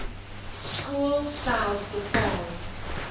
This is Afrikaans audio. skool self bepaal